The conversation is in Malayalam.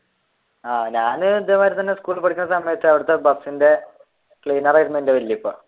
ആഹ് ഞാനും ഇതേമാതിരി തന്നെ സ്കൂളിൽ പഠിക്കുന്ന സമയത്തു അവിടത്തെ ബസിന്റെ cleaner ആയിരുന്നു എന്റെ വലിയ ഉപ്പ